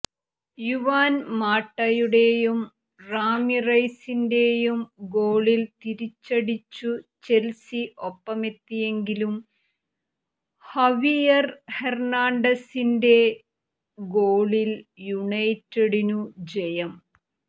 Juan മാട്ടയുടെയും റാമിറെസിന്റെയും ഗോളിൽ തിരിച്ചടിച്ചു ചെൽസി ഒപ്പമെത്തിയെങ്കിലും ഹവിയർ ഹെർണാണ്ടസിന്റെ ഗോളിൽ യുണൈറ്റഡിനു ജയം